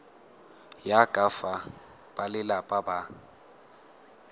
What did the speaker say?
ya ka fa balelapa ba